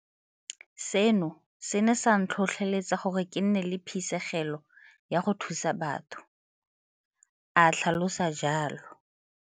Seno se ne sa ntlhotlheletsa gore ke nne le phisegelo ya go thusa batho, o tlhalosa jalo.